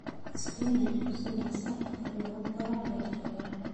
Isbinaajku si dhakhso ah ayuu ugu koraa beerta yar.